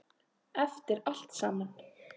Eftir allt saman.